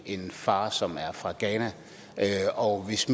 en far som er fra ghana og hvis